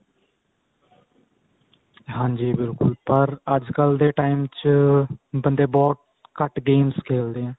ਹਾਂਜੀ ਬਿਲਕੁਲ ਪਰ ਅੱਜਕਲ ਦੇ time ਚ ਬੰਦੇ ਬਹੁਤ ਘੱਟ games ਖੇਲਦੇ ਏ